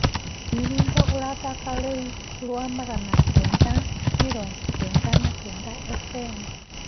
ni rwĩmbo urathaka riu gwa magana kenda mĩrongo kenda na kenda fm